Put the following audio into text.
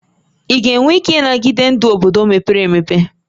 Ị ga-enwe ike ịnagide ndụ obodo mepere emepe?